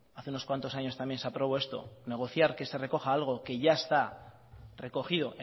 hace unos cuantos años también se aprobó esto negociar que se recoja algo que ya está recogido